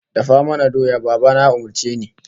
"Dafa mana doya", Baba na ya umurce ni.